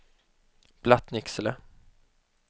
Blattnicksele